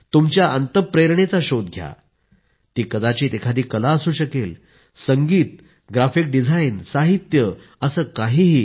तुमच्या अंतःप्रेरणेचा शोध घ्या ती कदाचित एखादी कला असू शकेल संगीत ग्राफीक डिझाईन साहित्य असं काहीही